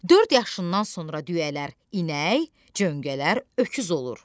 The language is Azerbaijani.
Dörd yaşından sonra düyələr inək, cöngələr öküz olur.